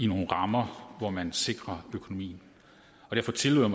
nogle rammer hvor man sikrer økonomien derfor tillod